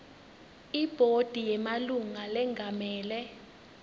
ibhodi yemalunga lengamele